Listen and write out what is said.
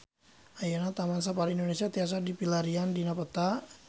Ayeuna Taman Safari Indonesia tiasa dipilarian dina peta